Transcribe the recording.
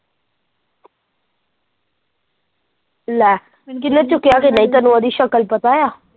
ਲੈ ਕਿਹਨੇ ਚੁੱਕਿਆ ਸੀ ਤੈਨੂੰ ਉਹਦੀ ਸ਼ਕਲ ਪਤਾ?